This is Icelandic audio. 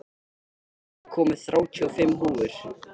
Addi, ég kom með þrjátíu og fimm húfur!